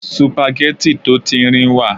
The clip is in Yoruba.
sùpàgẹ́tì tó tíńrín wà